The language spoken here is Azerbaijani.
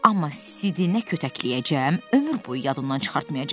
Amma Sidinə kötəkləyəcəm, ömür boyu yadından çıxartmayacaq.